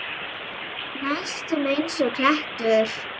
Næstum einsog klettur.